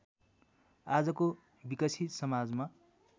आजको विकसित समाजमा